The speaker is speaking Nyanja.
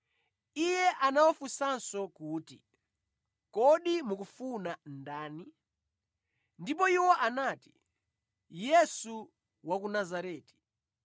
Iye anawafunsanso kuti, “Kodi mukumufuna ndani?” Ndipo iwo anati, “Yesu wa ku Nazareti.”